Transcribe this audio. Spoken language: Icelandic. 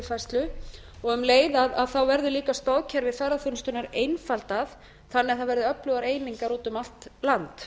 þekkingaryfirfærslu og um leið verði líka stoðkerfi ferðaþjónustunnar einfaldað þannig að það verði öflugar einingar út um allt land